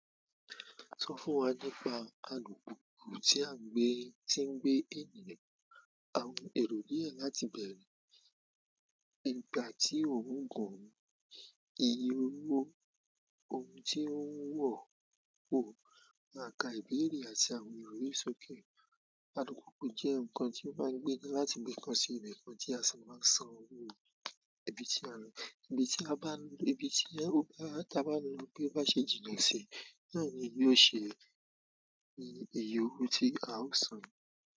Sọ fún wa nípa alùpùpù tí à ń gbé, tí ń gbé ènìyàn, àwọn èrò díẹ̀ láti bẹ̀rẹ̀, ìgbà tí ò ń gùn, iye owó, ohun tí ó ń wò, òpó, maa ká ìbéèrè àti àwọn èrè sókè. Alùpùpù jẹ́ nǹkan tí wọ́n máa ń gbé náà láti ibi kan sí ibi kan tí a sì máa ń san owó. Ibi tí a lọ, ibi tí a bá lọ, ibi tí a bá lọ bi o bá ṣe jìnnà sí, náà ni yóò ṣe iye owó tí a ó san.